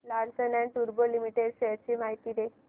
Larsen and टुर्बो limited shares ची माहिती दे